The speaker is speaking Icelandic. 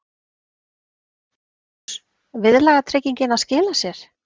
Magnús: Viðlagatryggingin að skila sér?